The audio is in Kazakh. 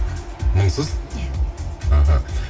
мұңсыз иә іхі